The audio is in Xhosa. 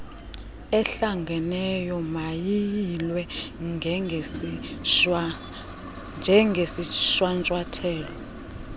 ehlanganeyo mayiyilwe njengesishwankathelo